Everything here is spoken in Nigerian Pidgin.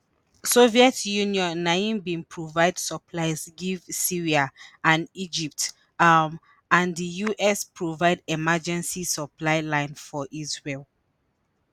soviet union na im bin provide supplies give syria and egypt um and di us provide emergency supply line for israel.